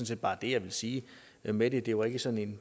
set bare det jeg vil sige med det der var ikke sådan